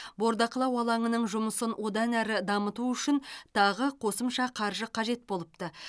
бордақылау алаңының жұмысын одан әрі дамыту үшін тағы қосымша қаржы қажет болыпты